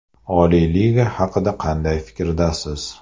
Oliy liga haqida qanday fikrdasiz?